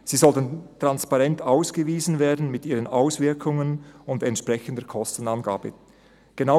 Sie sollten transparent mit ihren Auswirkungen und entsprechender Kostenangabe ausgewiesen werden.